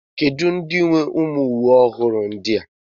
Kedu ndị nwe uwe ụmụ ọhụrụ ndi a?